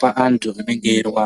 pa antu vanenge veirwa.